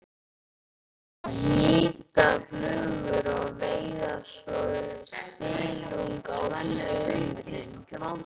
Að hnýta flugur og veiða svo silung á sumrin.